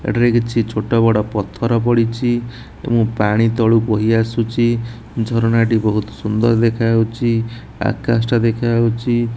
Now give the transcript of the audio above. ଏଠାରେ କିଛି ଛୋଟ ବଡ଼ ପଥର ପଡ଼ିଛି ଏବଂ ପାଣି ତଳୁ ବୋହି ଆସୁଚି ଝରଣାଟି ବୋହୁତୁ ସୁନ୍ଦର ଦେଖା ହୋଉଚି ଆକାଶ ଟା ଦେଖା ହୋଉଛି ।